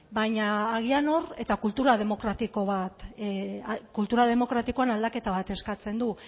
eta kultura demokratikoan aldaketa bat eskatzen du